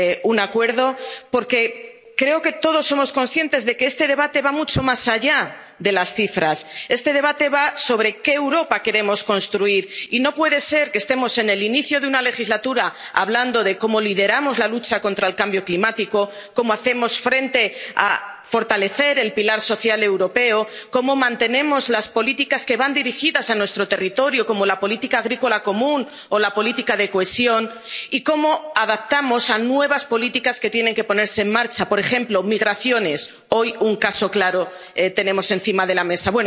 un acuerdo, porque creo que todos somos conscientes de que este debate va mucho más allá de las cifras. Este debate va sobre qué Europa queremos construir. Y no puede ser que estemos en el inicio de una legislatura hablando de cómo lideramos la lucha contra el cambio climático, cómo fortalecemos el pilar social europeo, cómo mantenemos las políticas que van dirigidas a nuestro territorio, como la política agrícola común o la política de cohesión, y cómo nos adaptamos a nuevas políticas que tienen que ponerse en marcha, por ejemplo, migraciones... Hoy tenemos un caso claro encima de la